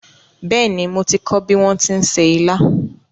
Bẹ́ẹ̀ni, mo ti kọ́ bí wón ti ń se ilá